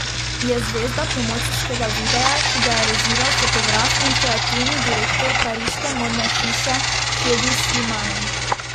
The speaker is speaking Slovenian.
Je zvezda promocijskega videa, ki ga je režiral fotograf in kreativni direktor pariške modne hiše Hedi Slimane.